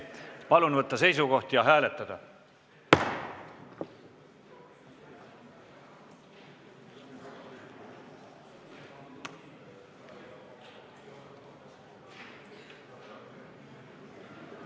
Palun võtta seisukoht ja hääletada!